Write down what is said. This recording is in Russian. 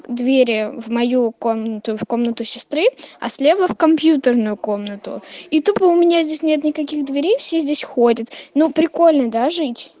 двери в мою комнату в комнату сестры а слева в компьютерную комнату и тупо у меня здесь нет никаких дверей все здесь ходят ну прикольно да жить